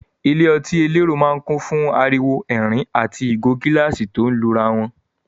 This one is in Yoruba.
Ilé ọtí elérò máa ń kùn fún ariwo ẹ̀rín àti ìgò gíláàsì tó ń lura wọn.